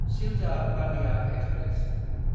Sealdah Ballia express